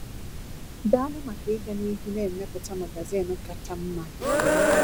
Daalụ maka ịga n’ihu na-emepụta magazin kacha mma dị.